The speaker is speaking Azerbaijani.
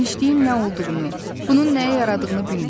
Genişliyin nə olduğunu, bunun nəyə yaradığını bilmirdi.